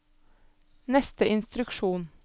neste instruksjon